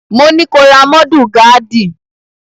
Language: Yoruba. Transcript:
Mo ní ko ra mọ́dù gaádì!